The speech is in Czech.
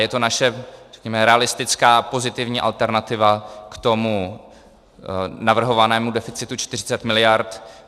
Je to naše, řekněme, realistická pozitivní alternativa k tomu navrhovanému deficitu 40 mld.